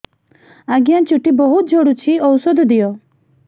ଆଜ୍ଞା ଚୁଟି ବହୁତ୍ ଝଡୁଚି ଔଷଧ ଦିଅ